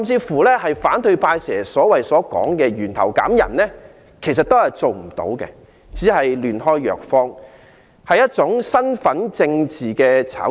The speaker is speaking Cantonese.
反對派經常說的"源頭減人"，其實都是做不到的，只是"亂開藥方"，是一種身份政治的炒作。